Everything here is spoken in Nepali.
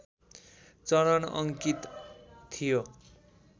चरण अङ्कित थियो